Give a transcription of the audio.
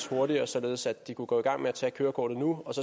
hurtigere således at de kunne gå i gang med at tage kørekortet nu